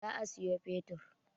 Za a sayo fetur.